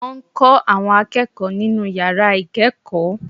Wọ́n n kó àwọn akéèkòó nínú yàrá ìkéèkó